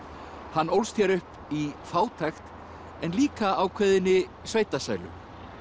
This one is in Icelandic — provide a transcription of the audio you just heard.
hann ólst hér upp í fátækt en líka ákveðinni sveitasælu